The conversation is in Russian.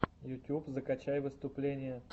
ютьюб закачай выступления